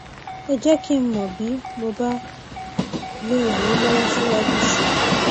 ẹ jẹ kí n mọ bí mo bá lè ràn yín lọwọ síwájú sí i